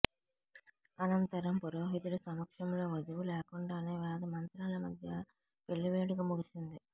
అనంతరం పురోహితుడి సమక్షంలో వధువు లేకుండానే వేదమంత్రాల మధ్య పెళ్లి వేడుక ముగిసింది